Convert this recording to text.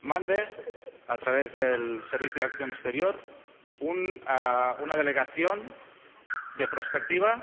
mande a través del Servicio Europeo de Acción Exterior a una delegación de prospectiva,